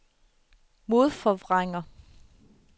modforvrænger